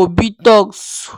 obitoks